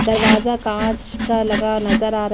दरवाजा काँच का लगा नजर आ र --